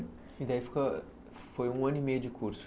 E daí ficou foi um ano e meio de curso.